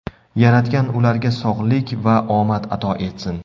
Yaratgan ularga sog‘lik va omad ato etsin.